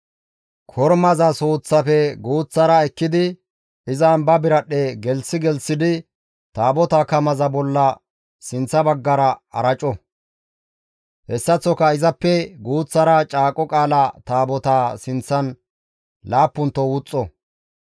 Kormaza suuththaafe guuththara ekkidi izan ba biradhdhe gelththi gelththidi Taabotaa kamaza bolla sinththa baggara araco; hessaththoka izappe guuththara Caaqo Qaala Taabotaa sinththan laappunto wuxxo.